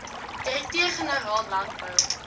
direkteur generaal landbou